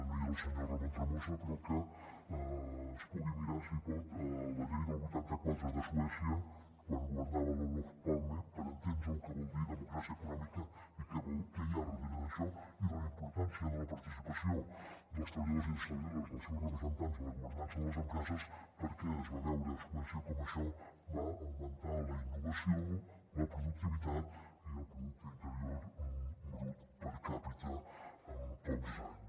no hi és el senyor ramon tremosa però que es pugui mirar si pot la llei del vuitanta quatre de suè·cia quan governava l’olov palme per entendre lo que vol dir democràcia econò·mica i què hi ha darrere d’això i la importància de la participació dels treballadors i les treballadores dels seus representants en la governança de les empreses perquè es va veure a suècia com això va augmentar la innovació la productivitat i el pro·ducte interior brut per capita en pocs anys